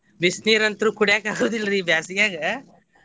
ಬಿಸಿ ನೀರ್ ಅಂತ್ರು ಕುಡ್ಯಾಕ ಆಗೊದಿಲ್ರಿ ಈ ಬ್ಯಾಸಗ್ಯಾಗ.